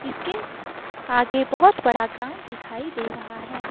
इसके आगे बहोत बड़ा ग्राउंड दिखाई दे रहा है।